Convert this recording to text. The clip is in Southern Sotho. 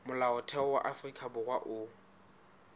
molaotheo wa afrika borwa o